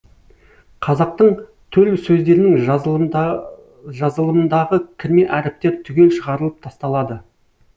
қазақтың төл сөздерінің жазылымындағы кірме әріптер түгел шығарылып тасталады